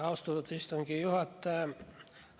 Austatud istungi juhataja!